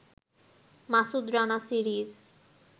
Masud Rana series